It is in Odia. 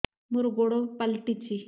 ମୋର ଗୋଡ଼ ପାଲଟିଛି